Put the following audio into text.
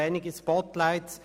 Einige Spotlights: